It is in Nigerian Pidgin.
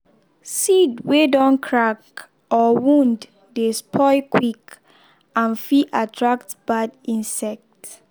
seed wey don crack or wound dey spoil quick and fit attract bad insect.